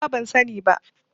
Nima ban sani ba.